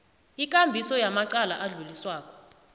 ikambiso yamacala adluliswako